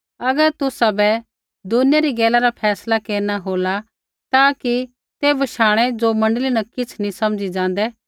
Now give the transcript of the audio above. अगर तुसाबै दुनिया री गैला रा फैसला केरना हो ता कि ते बशाणै ज़ो मण्डली न किछ़ नी समझी ज़ाँदै